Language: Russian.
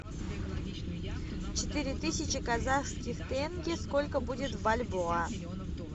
четыре тысячи казахских тенге сколько будет в бальбоа